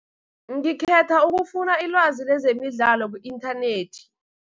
Ngikhetha ukufuna ilwazi lezemidlalo ku-inthanethi.